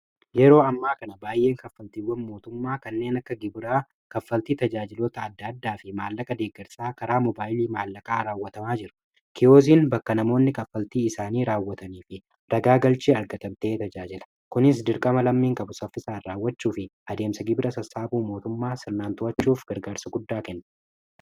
yeroo ammaa kana baay'een kaffaltiiwwan mootummaa kanneen akka gibiraa kaffaltii tajaajilota adda addaa fi maallaqa deeggarsaa karaa mobaayilii maallaqaa raawwatamaa jiru kiyooziin bakka namoonni kaffaltii isaanii raawwatanii fi ragaa galchii arga-tabtee tajaajila kunis dirqama lammiin qabu saffisaan raawwachuu fi adeemsa gibira sassaabuu mootummaa sirnaantwachuuf gargaarsu guddaa kenne